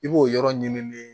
I b'o yɔrɔ ɲinini